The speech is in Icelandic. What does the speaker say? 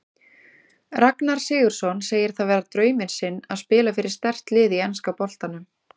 Ragnar Sigurðsson segir það vera drauminn sinn að spila fyrir sterkt lið í enska boltanum.